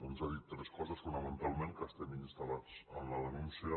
ens ha dit tres coses fonamentalment que estem instal·lats en la denúncia